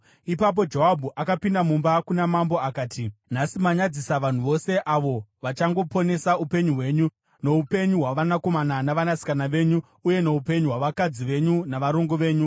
Ipapo Joabhu akapinda mumba kuna mambo akati, “Nhasi manyadzisa vanhu vose, avo vachangoponesa upenyu hwenyu noupenyu hwavanakomana navanasikana venyu uye noupenyu hwavakadzi venyu navarongo venyu.